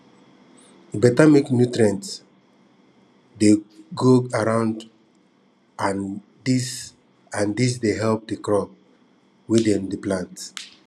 e better make nutrients dey go round and dis and dis dey help the crops wey dem go plant